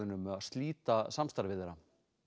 um að slíta samstarfi þeirra